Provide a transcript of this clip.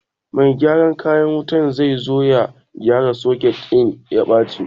Mai gyaran kayan wuta zai zo ya gyara soket ɗin da ya baci